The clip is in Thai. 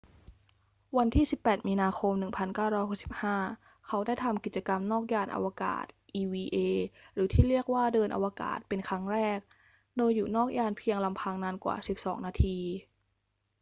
วันที่ 18 มีนาคม 1965 เขาได้ทำกิจกรรมนอกยานอวกาศ eva หรือที่เรียกว่า เดินอวกาศ เป็นครั้งแรก โดยอยู่นอกยานเพียงลำพังนานกว่า 12 นาที